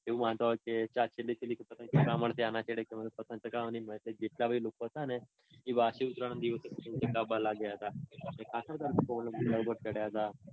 વાંધો આવે કે પતંગ ચગાવા માટે લોકો હતા ને એ વાસી ઉત્તરાયણ ના દિવસે પછી પતંગ ચગાવા. એટલે ખાસ બધા લોકો અગાસી પર ચઢ્યા તા.